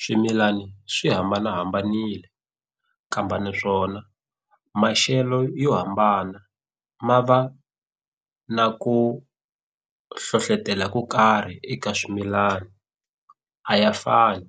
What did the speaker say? Swimilana swi hambanahambanile naswona maxelo yo hambana ma va na ku hlohlotela ko karhi eka swimilana a ya fani